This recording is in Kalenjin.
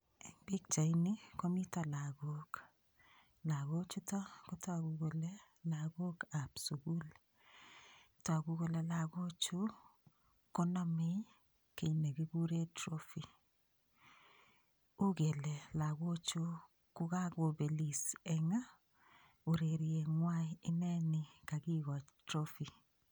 Eng pichaini ko mito lagok. Lagochito kotagu kole lagokab sugul. Tagu kole lagochu konamei kit negiguren trophy, ugele lagochu ko kagopelis eng ureriengwai, ineni kagigochi trophy